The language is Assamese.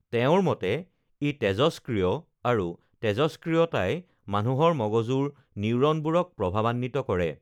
তেওঁৰ মতে ই তেজষ্ক্ৰিয় আৰু তেজষ্ক্ৰিয়তাই মানুহৰ মগজুৰ নিউৰনবোৰক প্ৰভাৱান্বিত কৰে